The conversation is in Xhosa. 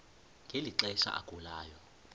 ngeli xesha agulayo